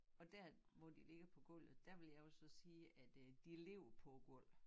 Og dér hvor de ligger på gulvet der vil jeg jo så sige at øh de ligger på æ gulv